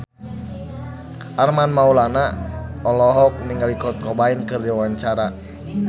Armand Maulana olohok ningali Kurt Cobain keur diwawancara